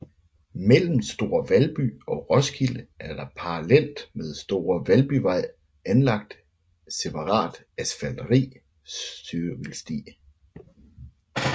Mellem Store Valby og Roskilde er der parallelt med Store Valbyvej anlagt separat asfalteret cykelsti